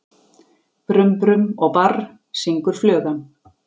Brum-brum og barr, syngur flugan.